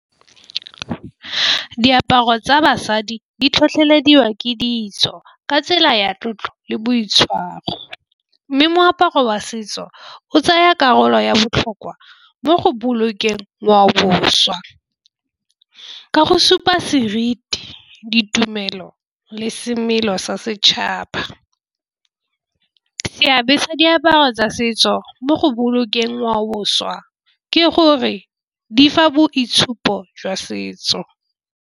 Diaparo tsa basadi di tlhotlhelediwa ke ditso ka tsela ya tlotlo le boitshwaro, mme moaparo wa setso o tsaya karolo ya botlhokwa mo go bolokeng ngwaoboswa. Ka go supa seriti ditumelo le semelo sa setšhaba. Seabe sa diaparo tsa setso mo go bolokeng ngwaoboswa ke gore di fa boitshupo jwa setso.